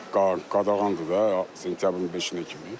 Qadağandır da sentyabrın beşi kimi.